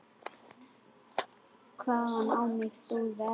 Hvaðan á mig stóð veðrið.